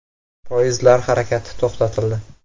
Poyezdlar harakati to‘xtatildi.